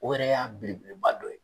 O yɛrɛ y'a belebeleba dɔ ye.